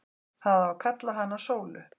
Það á að kalla hana Sólu.